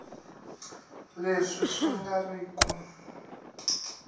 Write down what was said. leswi swi nga ri ku